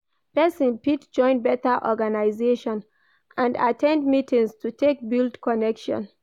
Persin fit join better organisation and at ten d meetings to take build connection